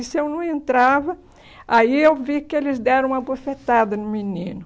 E se eu não entrava, aí eu vi que eles deram uma bofetada no menino.